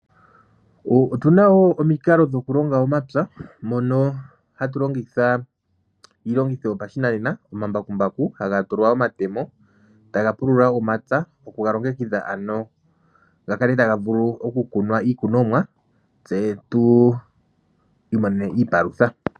Otuna wo omikalo dhokulonga omapya mono hatu longitha iilongitho yopashinanena omambakumbaku haga tulwa omatemo taga pulula momapya okuga longekidha ano ga kale taga vulu okukunwa iikunomwa tse tu imonene iipalutha.